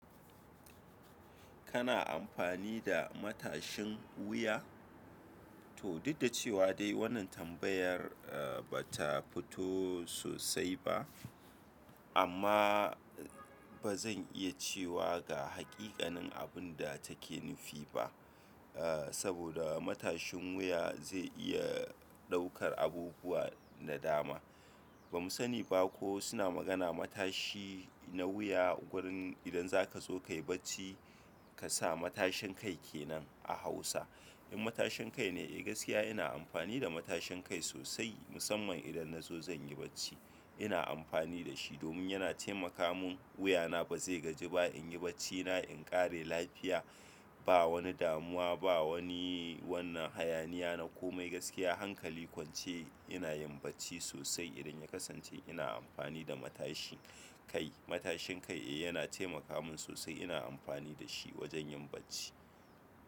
Kana amfani da matashin wuya? To, duk da cewa dai wannan tambayar ba ta fito sosai ba amma ba zan iya cewa ga haƙiƙanin abun da take nufi ba. Saboda matashin wuya zai iya ɗaukar abubuwa da dama. Ba mu sani ba ko suna magana matashi na wuya wurin idan za ka zo ka yi bacci ka sa matashin kai ke nan a Hausa. In matashin kai ne eh gaskiya ina amfani da matashin kai sosai, musamman idan na zo zan yi bacci. Ina amfani da shi domin yana taimaka mun, wuya na ba zai gaji ba, in yi bacci na in ƙare lafiya. Ba wani damuwa ba, wani wannan hayaniya na ko mai gaskiya hankali kwance ina yin bacci sosai idan ya kasance ina amfani da matashi kai. Matashin kai eh yana taimaka mun sosai ina amfani da shi wajen yin bacci.